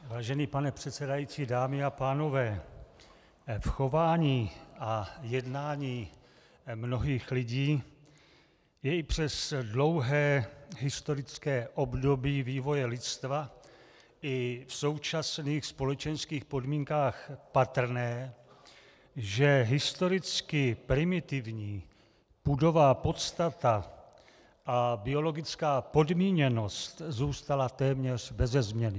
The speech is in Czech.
Vážený pane předsedající, dámy a pánové, v chování a jednání mnohých lidí je i přes dlouhé historické období vývoje lidstva i v současných společenských podmínkách patrné, že historicky primitivní pudová podstata a biologická podmíněnost zůstala téměř beze změny.